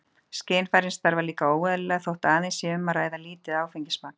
Skynfærin starfa líka óeðlilega þótt aðeins sé um að ræða lítið áfengismagn.